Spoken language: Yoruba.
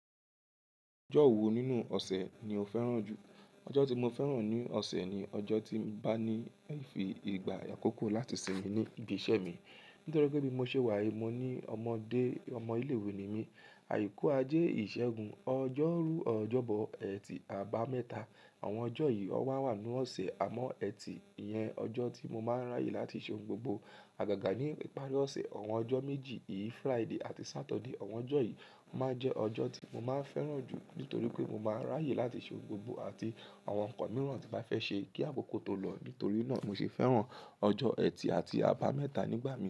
Ọjọ́ wo nínú ọ̀sẹ̀ ni o fẹ́ràn jù? Ọjọ́ tí mo fẹ́ràn ní ọ̀sẹ̀ ni ọjọ́ tí bá ní ìfì ìgbà àkókò láti sinmi ní ibi iṣẹ́ mi. Nítorí pé bí mo ṣe wá yì mo ní ọmọdé, ọmọ ilé-ìwé ni mí. Àyíku, ajé, ìṣẹ́gun, ọjọ́rú, ọjọ́bọ, ẹtì, àbámẹ́ta àwọn ọjọ́ yìí ó wà wà nínú ọ̀sẹ̀. Àmọ́ ẹtì yẹn, ọjọ́ tí mo máa ń ráyè láti ṣe ohun gbogbo. Àgàgà ní ìparí ọ̀sẹ̀, àwọn ọjọ́ méjì yìí Friday àti Saturday àwọn ọjọ́ yìí máa ń jẹ́ ọjọ́ tí mo máa ń fẹ́ràn jù nítorí pé mo máa ń ráyè láti ṣe ohun gbogbo àti àwọn nǹkan mìíràn tí bá fẹ́ ṣe kí àkókò tó lọ. Nítorí náà mo se fẹ́ràn ọjọ́ ẹtì àti àbámẹ́ta nígbà mí.